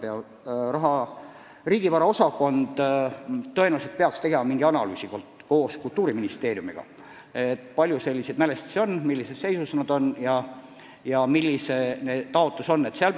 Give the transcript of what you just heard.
Rahandusministeeriumi riigivara osakond peaks tõenäoliselt tegema koos Kultuuriministeeriumiga analüüsi, kui palju selliseid mälestisi on, mis seisus nad on ja millised taotlused on esitatud.